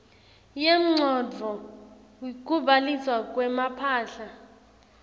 yemcondvo kubhaliswa kwemphahla